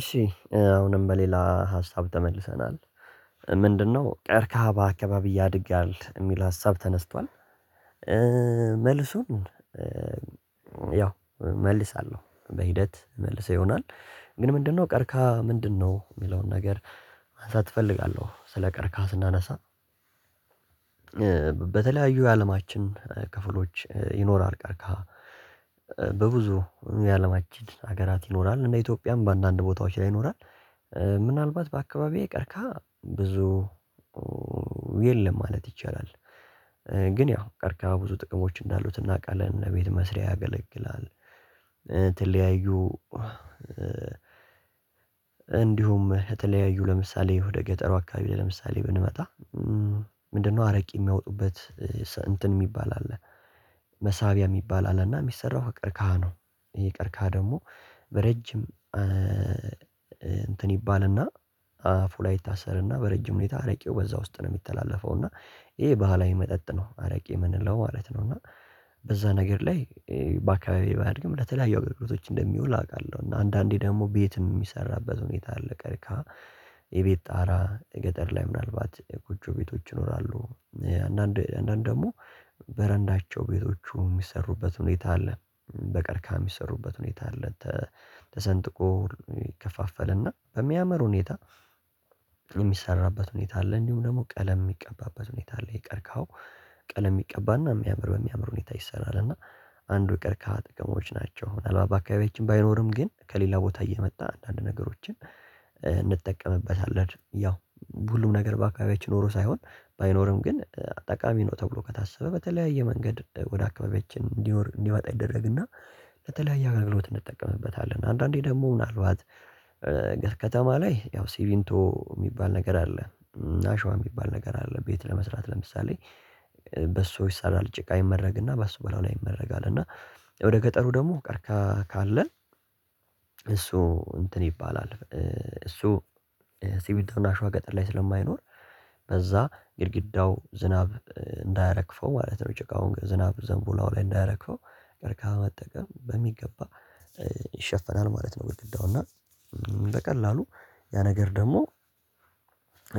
እሺ አሁንም በሌላ ሀሳብ ተመልሰናል። ምንድነው? ቀርካሃ በአካባቢ ያድጋል የሚል ሀሳብ ተነስቷል። መልሱን ያው እመልሳለሁ በሂደት መልሰው ይሆናል። ግን ምንድነው ቀርካ ምንድነው የሚለውን ነገር። ማንሳት እፈልጋለሁ ስለ ቀርካስ ስናነሳ። በተለያዩ የአለማችን ክፍሎች ይኖራል ቀርካሃ። በብዙ የአለማችን ሀገራት ይኖራል እና ኢትዮጵያም በአንዳንድ ቦታዎች ላይ ይኖራል። ምናልባት በአካባቢዬ ቀርካሃ ብዙ የለም ማለት ይቻላል። ግን ያው ቀርቃሃ ብዙ ጥቅሞች እንዳሉት እናውቃለን እነ ቤት መስሪያ ያገለግላል። የተለያዩ እንዲሁም የተለያዩ ለምሳሌ ወደ ገጠሩ አካባቢ ለምሳሌ ብንመጣ። ምንድነው አረቂ የሚያወጡበት እንትን የሚባል አለ። መሳቢያ የሚባል አለና የሚሰራው ከቀርካሃ ነው። የቀርካሃ ደግሞ በረጅም እንትን ይባልና አፉ ላይ ይታሰርና በረጅም ሁኔታ አረቄው በዛ ውስጥ ነው የሚተላለፈው። እና ይሄ ባህላዊ መጠጥ ነው አረቄ የምንለው ማለት ነው። እና በዛ ነገር ላይ በአካባቢዬ ባያድግም ለተለያዩ አገልግሎቶች እንደሚውል አውቃለሁ። እና አንዳንዴ ደግሞ ቤትም የሚሰራበት ሁኔታ አለ። ቀርካሃ የቤት ጣራ የገጠር ላይ ምናልባት ጎጆ ቤቶች ይኖራሉ። አንዳንድ አንዳንድ ደግሞ በረንዳቸው ቤቶቹ የሚሰሩበት ሁኔታ አለ። በቀርካ የሚሰሩበት ሁኔታ አለ። ተሰንጥቆ ይከፋፈልና በሚያምር ሁኔታ የሚሰራበት ሁኔታ አለ። እንዲሁም ደግሞ ቀለም የሚቀባበት ሁኔታ አለ ቀርካሃው ቀለም ይቀባና በሚያምር በሚያምር ሁኔታ ይሰራል። እና አንዱ የቀርካሃ ጥቅሞች ናቸው። ምናልባት በአካባቢያችን ባይኖርም ግን ከሌላ ቦታ እየመጣ አንዳንድ ነገሮችን እንጠቀምበታለን። ያው ሁሉም ነገር በአካባቢያችን ኖሮ ሳይሆን ባይኖርም ግን ጠቃሚ ነው ተብሎ ከታሰበ በተለያየ መንገድ ወደ አካባቢዎች እንዲመጣ ይደረግና ለተለያየ አጋልግሎት እንጠቀምበታለን። አንዳንዴ ደግሞ ምናልባት ከከተማ ላይ ያው ሲምንቶ የሚባል ነገር አለ። እና አሸዋ የሚባል ነገር አለ። ቤት ለመስራት ለምሳሌ በሱ ይሰራል። ጭቃ ይመረግና በእሱ በላዩ ላይ ይመረጋል። እና ወደ ገጠሩ ደግሞ ቀርካሃ ካለን እሱ እንትን ይባላል። እሱ ስምንቶ እና አሸዋ ገጠር ላይ ስለማይኖር በዛ ግድግዳው ዝናብ እንዳያረግፈው ማለት ነው። ጭቃውን ዝናብ ዘንቦ እላዩ ላይ እንዳያረግፈው ቀርቃም መጠቀም በሚገባ ይሸፈናል ማለት ነው። ግድግዳውና በቀላሉ ያ ነገር ደግሞ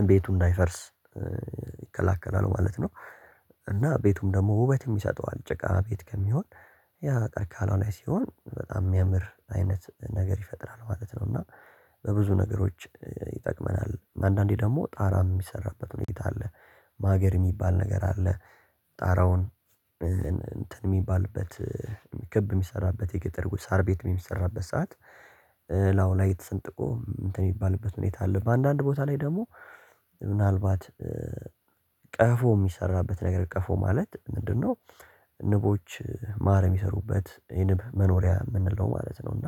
ቤቱን እንዳይፈርስ ይከላከላሉ ማለት ነው። እና ቤቱም ደግሞ ውበትም ይሰጠዋል ጨቃ ቤት ከሚሆን ያ ቀርካሃ እላዩ ላይ ሲሆን በጣም የሚያምር አይነት ነገር ይፈጥራል ማለት ነው። እና በብዙ ነገሮች ይጠቅመናል። አንዳንዴ ደግሞ ጣራ የሚሰራበት ሁኔታ አለ። ማገር የሚባል ነገር አለ። ጣራውን እንትን የሚባልበት ክብ የሚሰራበት የገጠር ሳር ቤት የሚሰራበት ሰዓት ላዩ ላይ ተሰንጥቆ እንትን የሚባልበት ሁኔታ አለ። በአንዳንድ ቦታ ላይ ደግሞ ምናልባት ቀፎ የሚሰራበት ነገር ቀፎ ማለት ምንድነው? ንቦች ማር የሚሰሩበት የንብ መኖሪያ የምንለው ማለት ነው። እና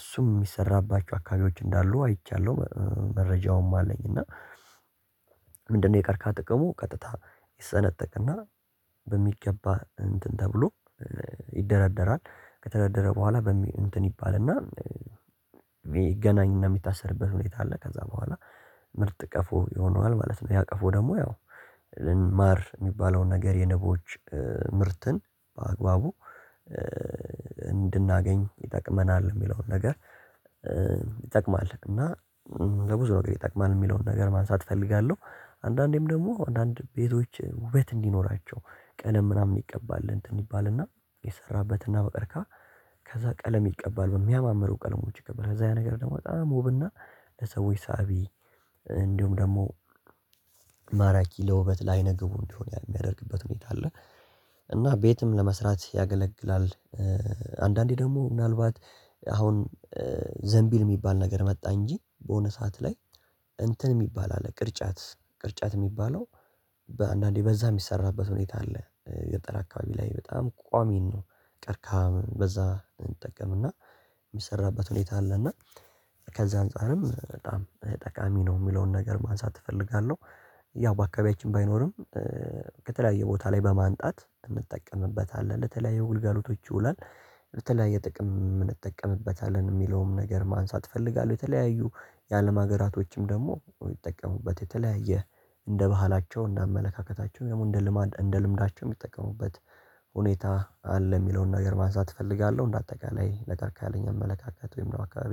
እሱም የሚሰራባችሁ አካባቢዎች እንዳሉ አይቻለሁ መረጃውም አለኝ። እና ምንድነው? የቀረካሃ ጥቅሙ ቀጥታ ይሰነጠቅና በሚገባ እንትን ተብሎ ይደረደራል ከተደረደረ በኋላ በሚል እንትን ይባልና ይገናኝና የሚታሰርበት ሁኔታ አለ። ከዛ በኋላ ምርጥ ቀፎ ይሆነዋል ማለት ነው። ያ ቀፎ ደግሞ ያው ማር የሚባለውን ነገር የንቦች ምርትን በአግባቡ እንድናገኝ ይጠቅመናል። የሚለውን ነገር ይጠቅማል። እና ለብዙ ነገር ይጠቅማል የሚለውን ነገር ማንሳት እፈልጋለሁ። አንዳንዴም ደግሞ አንዳንድ ቤቶች ውበት እንዲኖራቸው ቀለም ምናምን ይቀባል እንትን ይባልና የሰራበትና በቀርካሃ ከዛ ቀለም ይቀባል በሚያማምሩ ቀለሞች ይቀባል ከዛ ያ ነገር ደግሞ በጣም ውብና ለሰዎች ሳቢ እንዲሁም ደግሞ ማራኪ ለውበት ላይነግቡ እንዲሆን የሚያደርግበት ሁኔታ አለ። እና ቤትም ለመስራት ያገለግላል። አንዳንዴ ደግሞ ምናልባት አሁን ዘንቢል የሚባል ነገር መጣ እንጂ በሆነ ሰዓት ላይ እንትን የሚባል አለ ቅርጫት ቅርጫት የሚባለው በአንዳንዴ በዛ የሚሰራበት ሁኔታ አለ። ገጠር አካባቢ ላይ በጣም ቋሚ ነው። ቀርካ በዛ እንጠቀምና የሚሰራበት ሁኔታ አለና። ከዚህ አንፃርም በጣም ጠቃሚ ነው የሚለውን ነገር ማንሳት እፈልጋለሁ። ያው በአካባቢያችን ባይኖርም ከተለያየ ቦታ ላይ በማምጣት እንጠቀምበታለን ለተለያየ ግልጋሎቶች ይውላል። ለተለያየ ጥቅም እንጠቀምበታለን የሚለውን ነገር ማንሳት እፈልጋለሁ። የተለያዩ የአለም ሀገራቶችም ደግሞ ይጠቀሙበት የተለያየ እንደ ባህላቸው እንደ አመለካከታቸው ያው ልማድ እንደ ልምዳቸው የሚጠቀሙበት ሁኔታ አለ። የሚለውን ነገር ማንሳት እፈልጋለሁ እንደ አጠቃላይ ለቀርካሃ ያለኝ አመለካከት ወይም ደግሞ አካባቢዬ